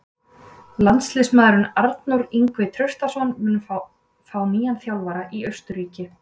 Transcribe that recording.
Landsliðsmaðurinn Arnór Ingvi Traustason mun fá nýjan þjálfara í Austurríki.